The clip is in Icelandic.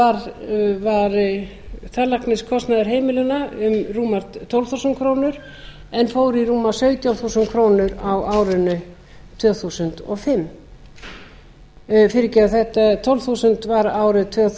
níutíu og átta var tannlækniskostnaður heimilanna rúmar tólf þúsund krónur en fór í rúmar sautján þúsund krónur á árinu tvö þúsund og fimm fyrirgefið tólf þúsund var árið nítján hundruð